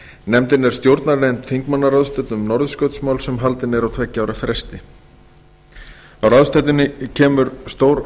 nefndin er stjórnarnefnd þingmannaráðstefnu um norðurskautsmál sem haldin er á tveggja ára fresti á ráðstefnuna kemur stór